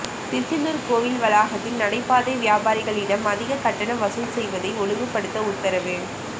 திருச்செந்தூர் கோவில் வளாகத்தில் நடைபாதை வியாபாரிகளிடம் அதிக கட்டணம் வசூல் செய்வதை ஒழுங்குபடுத்த உத்தரவு